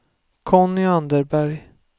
Conny Anderberg